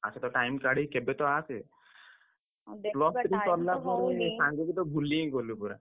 ଆ ଟିକେ time କାଢି କେବେତ ଆସେ। plus three ସରିଲା ପରେ ସାଙ୍ଗୁକୁ ତ ଭୁଲି ହିଁ ଗଲୁ ପୁରା।